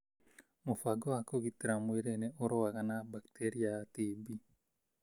Mũbango wa kũgitĩra mwĩrĩ nĩ ũrũaga na bakteria ya TB